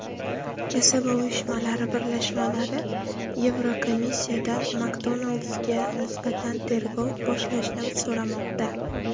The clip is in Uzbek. Kasaba uyushmalari birlashmalari Yevrokomissiyadan McDonald’s’ga nisbatan tergov boshlashni so‘ramoqda.